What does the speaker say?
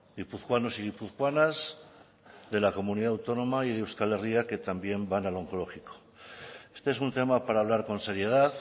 guipuzcoanos y guipuzcoanas de la comunidad autónoma y de euskal herria que también van al onkologiko este es un tema para hablar con seriedad